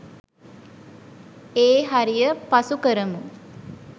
ඒ හරිය පසු කරමු.